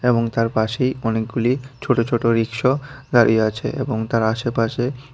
এবং তার পাশেই অনেকগুলি ছোট ছোট রিক্সো দাঁড়িয়ে আছে এবং তার আশেপাশে--